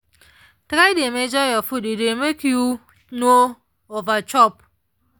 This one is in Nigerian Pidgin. try dey measure your food e dey make you no over chop.